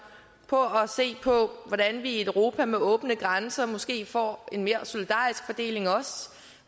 på på hvordan vi i et europa med åbne grænser måske også får en mere solidarisk fordeling